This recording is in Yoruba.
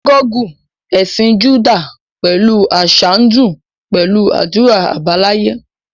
Sínágọ́gù ẹ̀sìn Júdà pẹ̀lú àṣà ń dún pẹ̀lú àdúrà àbáláyé